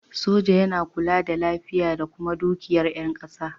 Soja yana kula da lafiya da kuma dukiyar yan ƙasa